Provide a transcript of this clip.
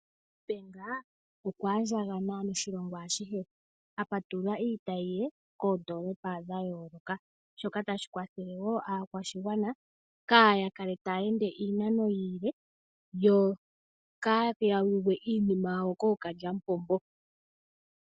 NEDBANK okwa andjakana noshilongo ashihe, a patulula iitayi ye koondoolopa dha yooloka, shoka tashi kwathele wo aakwashigwana kaa ya kale taya ende iinano iile, yo kaadhi ya yuge iinima yawo kookalyamupombo.